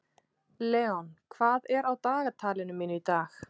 Leon, hvað er á dagatalinu mínu í dag?